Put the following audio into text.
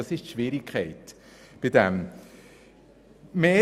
Das ist die Schwierigkeit bei diesem Thema.